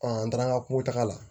an taara ka kungo taka la